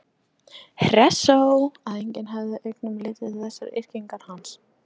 Hressó að enginn hefði augum litið þessar yrkingar hans?